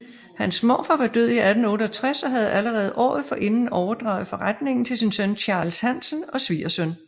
Hans morfar var død i 1868 og havde allerede året forinden overdraget forretningen til sin søn Charles Hansen og svigersøn